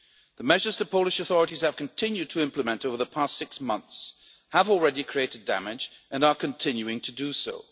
of law. The measures the Polish authorities have continued to implement over the past six months have already created damage and are continuing to